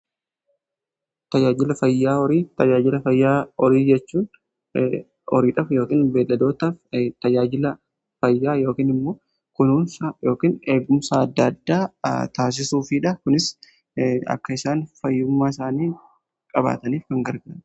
Tajaajila fayyaa horii: tajaajila fayyaa horii jechuun horiidhaaf yookiin beelladootaaf tajaajila fayyaa yookiin immoo kunuunsa yookiin eegumsa adda addaa taasisuufiidha. Kunis akka isaan fayyummaa isaanii qabaataniif kan gargaarudha.